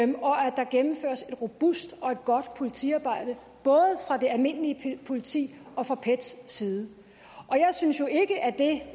der gennemføres et robust og godt politiarbejde både fra det almindelige politis og fra pets side jeg synes jo ikke at det